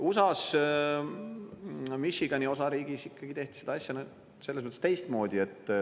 USA-s Michigani osariigis ikkagi tehti seda asja selles mõttes teistmoodi.